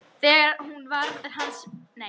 Þegar hún varð hans vör leit hún í átt til hans.